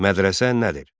Mədrəsə nədir?